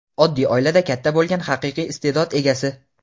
oddiy oilada katta bo‘lgan haqiqiy iste’dod egasi.